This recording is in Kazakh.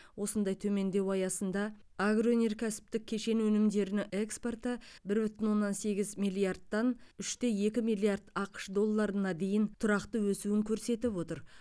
осындай төмендеу аясында агроөнеркәсіптік кешен өнімдерінің экспорты бір бүтін оннан сегіз миллиардтан үш те екі миллиард ақш долларына дейін тұрақты өсуін көрсетіп отыр